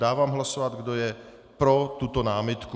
Dávám hlasovat, kdo je pro tuto námitku.